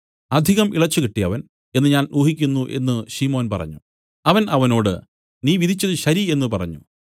അധികം ഇളച്ചുകിട്ടിയവൻ എന്നു ഞാൻ ഊഹിക്കുന്നു എന്നു ശിമോൻ പറഞ്ഞു അവൻ അവനോട് നീ വിധിച്ചതു ശരി എന്നു പറഞ്ഞു